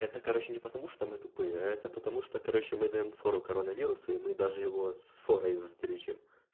это короче не потому что мы тупые а это потому что короче мы даём фору коронавирусу и мы даже его с форой в здрючим